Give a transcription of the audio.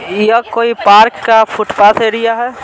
यह कोई पार्क का फुटपाथ एरिया है।